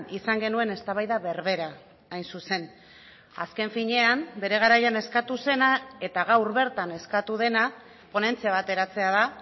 izan genuen eztabaida berbera hain zuzen azken finean bere garaian eskatu zena eta gaur bertan eskatu dena ponentzia bat eratzea da